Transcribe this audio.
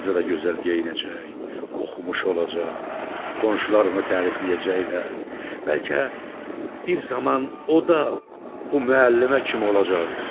Qızı da gözəl geyinəcək, oxumuş olacaq, qonşular onu tərifləyəcəklər, bəlkə bir zaman o da bu müəllimə kimi olacaqdır.